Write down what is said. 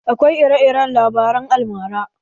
Akwai ire-iren labaren almara.